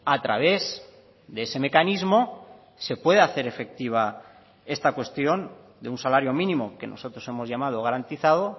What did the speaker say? a través de ese mecanismo se puede hacer efectiva esta cuestión de un salario mínimo que nosotros hemos llamado garantizado